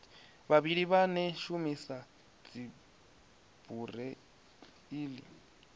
vhavhali vhane vha shumisa dzibureiḽi